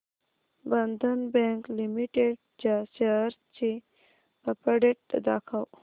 बंधन bank limited च्या shares ची update दाखव